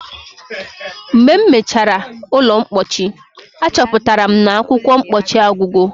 Mgbe m mechara ụlọ mpochi, achọpụtara m na akwụkwọ mpochi agwugo.